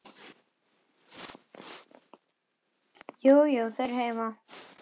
Jú, jú. þau eru heima.